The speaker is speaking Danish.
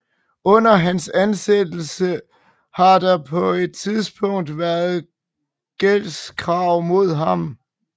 Under hans ansættelse har der på et tidspunkt været gældskrav mod ham